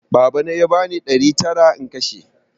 Babana ya bani ɗari tara in kashe